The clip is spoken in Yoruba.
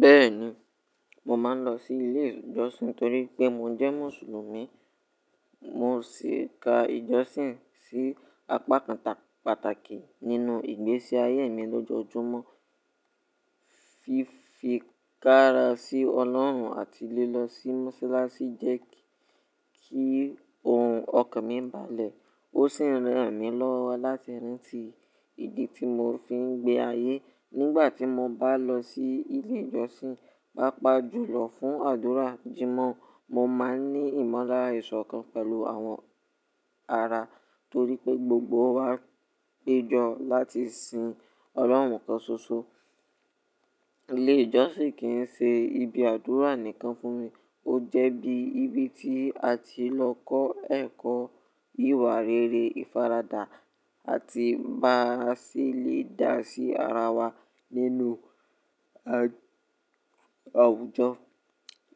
Bẹ́ẹ̀ni, mo máa ń lọ sí ilé ìjọsìn torí pé mo jẹ́ mùsùlùmí. Mo sì ka ìjọsìn sí apá pàtàkì nínú ìgbésí ayé mi lójoojúmọ́. Fífikára sí Ọlọ́run àti lílọ sí mọ́sálásí jẹ́ kí ohun ọkàn mi balẹ̀ ó sì n ra n mi lọ́wọ́ láti rántí ìdí tí mo fi ń gbé ayé. Nígbà tí mo bá lọ sí ilé ìjọsìn, pàápàá jùlọ fún àdúrà/jímọ̀, mo máa ń ní ìmọ̀lára ìṣọ̀kan pẹ̀lú àwọn ará torí pé gbogbo wa péjọ láti sin Ọlọ́run kan ṣoṣo. Ilé ìjọsìn kì í ṣe ibi àdúrà nìkan fún mi, ó jẹ́ bí ibi tí a ti n lọ kọ́ ẹ̀kọ́ ìwà rere, ìfaradà àti bá ṣelẹ̀ dá sí ara wa nínú àwùjọ.